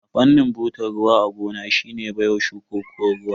Amfanin butar ruwa a gona shine baiwa shukuko ruwa.